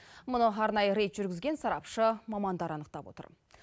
мұны арнайы рейд жүргізген сарапшы мамандар анықтап отыр